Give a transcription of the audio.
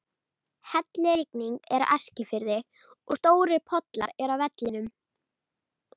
Hellirigning er á Eskifirði og stórir pollar eru á vellinum.